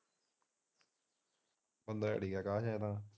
ਬੰਦਾ ਤਾ ਠੀਕ ਹੈ ਅਕਸ਼ ਇਹ ਤਾ।